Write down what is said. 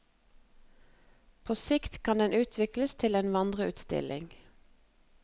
På sikt kan den utvikles til en vandreutstilling.